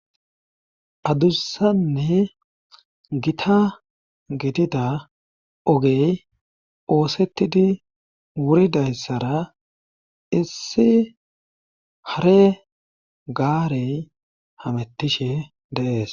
Adusanne gita gidida ogey oosettidi wuridayssara issi hare gaarey hamettishe deees